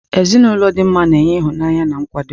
Ezinụlọ dị mma na-enye ịhụnanya na nkwado.